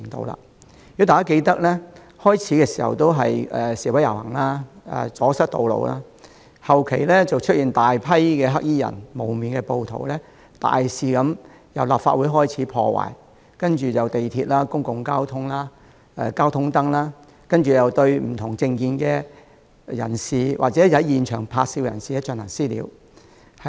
如果大家記得，剛開始時只是示威遊行、阻塞道路，隨後卻出現大批黑衣人和蒙面暴徒，大肆破壞，從立法會開始，接着是地鐵、交通燈，以及對不同政見或在現場拍照的人士進行"私了"。